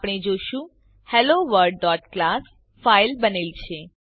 આપણે જોશું helloworldક્લાસ ફાઇલ બનેલ છે